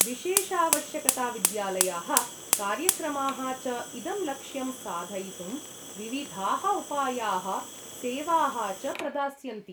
विशेषावश्यकताविद्यालयाः, कार्यक्रमाः च इदं लक्ष्यं साधयितुं विविधाः उपायाः सेवाः च प्रदास्यन्ति।